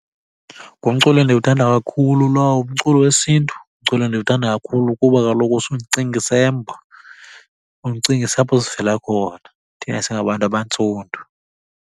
Ngumculo endiwuthanda kakhulu lowo umculo wesiNtu. Ngumculo endiwuthanda kakhulu kuba kaloku use undicingise embo, undicingise apho sivela khona thina singabantu abantsundu.